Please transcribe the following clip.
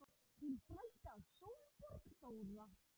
Þín frænka Sólborg Þóra.